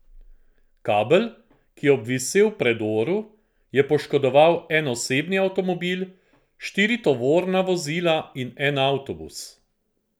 Kabel, ki je obvisel v predoru, je poškodoval en osebni avtomobil, štiri tovorna vozila in en avtobus.